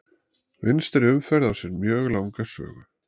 Vinstri umferð á sér mjög langa sögu.